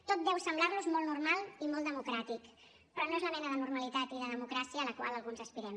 tot deu semblar los molt normal i molt democràtic però no és la mena de normalitat i de democràcia a la qual alguns aspirem